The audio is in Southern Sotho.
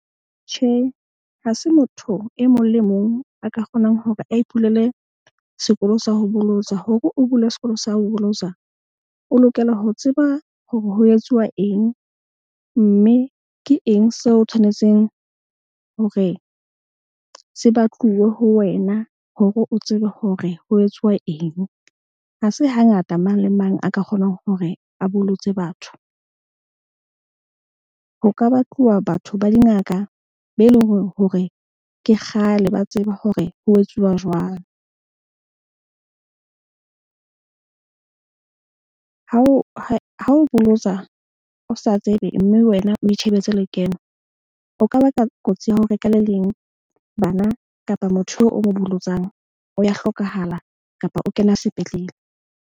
Tjhe, ha se motho e mong le e mong a ka kgonang hore a ipulele sekolo sa ho bolotsa hore o bule sekolo sa ho bolotsa. O lokela ho tseba hore ho etsuwa eng mme ke eng seo o tshwanetseng hore se batluwe ho wena. Hore o tsebe hore ho etsuwa eng. Ha se hangata mang le mang a ka kgonang hore a bolotse batho. Ho ka batluwa batho ba dingaka be eleng hore ke kgale ba tseba hore ho etsuwa jwang. Ha o bolotsa o sa tsebe mme wena o itjhebetse lekeno. O ka baka kotsi ya hore ka le leng bana kapa motho eo o mo bolotsang, o ya hlokahala kapa o kena sepetlele.